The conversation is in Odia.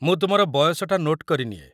ମୁଁ ତୁମର ବୟସଟା ନୋଟ୍ କରିନିଏ।